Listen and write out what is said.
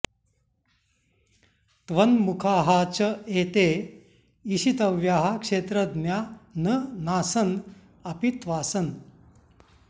त्वन्मुखाः च एते ईशितव्याः क्षेत्रज्ञा न नासन् अपि त्वासन्